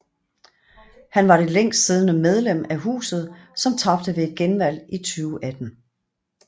Han var det længstsiddende medlem af Huset som tabte ved et genvalg i 2018